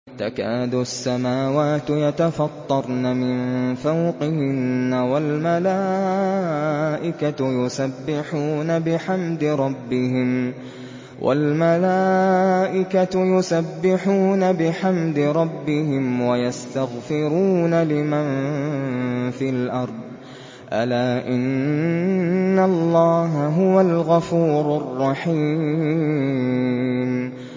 تَكَادُ السَّمَاوَاتُ يَتَفَطَّرْنَ مِن فَوْقِهِنَّ ۚ وَالْمَلَائِكَةُ يُسَبِّحُونَ بِحَمْدِ رَبِّهِمْ وَيَسْتَغْفِرُونَ لِمَن فِي الْأَرْضِ ۗ أَلَا إِنَّ اللَّهَ هُوَ الْغَفُورُ الرَّحِيمُ